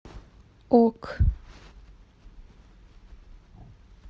ок